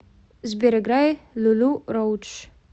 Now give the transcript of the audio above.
сбер играй лулу роудж